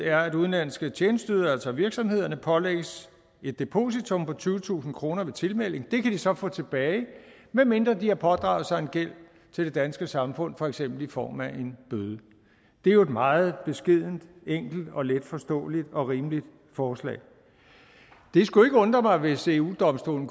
er at udenlandske tjenesteydere altså virksomhederne pålægges et depositum på tyvetusind kroner ved tilmelding og det kan de så få tilbage medmindre de har pådraget sig en gæld til det danske samfund for eksempel i form af en bøde det er jo et meget beskedent enkelt og letforståeligt og rimeligt forslag det skulle ikke undre mig hvis eu domstolen